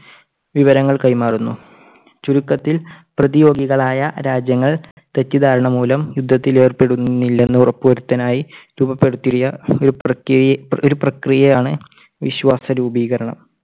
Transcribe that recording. വിവരങ്ങൾ കൈമാറുന്നു. ചുരുക്കത്തിൽ പ്രതിയോഗികളായ രാജ്യങ്ങൾ തെറ്റിദ്ധാരണ മൂലം യുദ്ധത്തിൽ ഏർപ്പെടുന്നില്ലെന്ന് ഉറപ്പുവരുത്താനായി രൂപപ്പെടുത്തിയ ഒരു പ്രക്രി~പ്രക്രിയയാണ് വിശ്വാസ രൂപീകരണം.